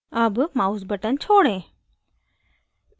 अब mouse button छोड़ें